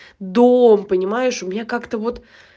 дом понимаешь у меня как-то вот